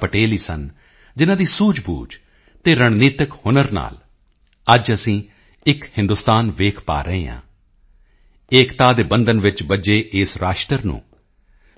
ਪਟੇਲ ਹੀ ਸਨ ਜਿਨ੍ਹਾਂ ਦੀ ਸੂਝਬੂਝ ਅਤੇ ਰਣਨੀਤਿਕ ਹੁਨਰ ਨਾਲ ਅੱਜ ਅਸੀਂ ਇੱਕ ਹਿੰਦੁਸਤਾਨ ਦੇਖ ਪਾ ਰਹੇ ਹਾਂ ਏਕਤਾ ਦੇ ਬੰਧਨ ਵਿੱਚ ਬੱਝੇ ਇਸ ਰਾਸ਼ਟਰ ਨੂੰ